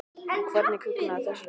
En hvernig kviknaði þessi hugmynd?